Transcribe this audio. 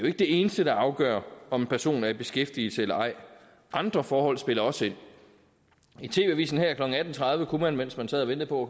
ikke det eneste der afgør om en person er i beskæftigelse eller ej andre forhold spiller også ind i tv avisen her klokken atten tredive kunne man mens man sad og ventede på